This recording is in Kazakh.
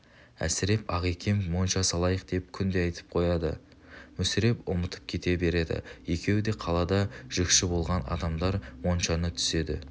әсіреп ағакем монша салайық деп күнде айтып қояды мүсіреп ұмытып кете береді екеуі де қалада жүкші болған адамдар моншаны түседі